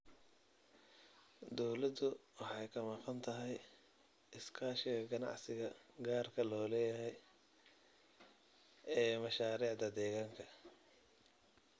Dawladdu waxay ka maqan tahay iskaashiga ganacsiga gaarka loo leeyahay ee mashaariicda deegaanka.